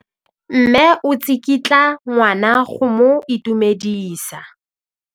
Mme o tsikitla ngwana go mo itumedisa.